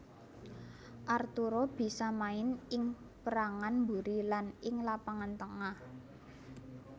Arturo bisa main ing pérangan mburi lan ing lapangan tengah